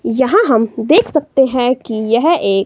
यहां हम देख सकते हैं कि यह एक--